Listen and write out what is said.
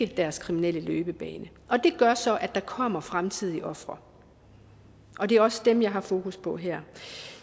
deres kriminelle løbebane det gør så at der kommer fremtidige ofre og det er også dem jeg har fokus på her